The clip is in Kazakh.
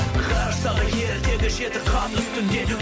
ғарыштағы ерітеді жеті қап үстіндегі